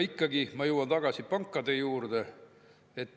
Ikkagi ma jõuan tagasi pankade juurde.